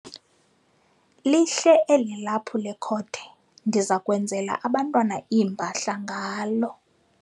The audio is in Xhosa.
Lihle eli laphu lekhode ndiza kwenzela abantwana iimpahla ngalo.